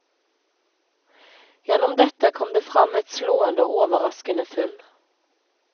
Gjennom dette kom det fram et slående og overraskende funn.